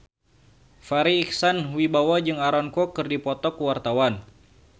Farri Icksan Wibisana jeung Aaron Kwok keur dipoto ku wartawan